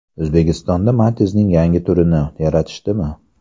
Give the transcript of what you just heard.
O‘zbekistonda Matiz’ning yangi turini yaratishdimi?